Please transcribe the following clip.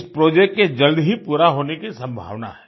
इस प्रोजेक्ट के जल्द ही पूरा होने की संभावना है